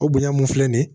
O bonya mun filɛ nin ye